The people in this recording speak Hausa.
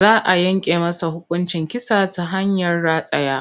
Za a yanke masa hukuncin kisa ta hanyar rataya.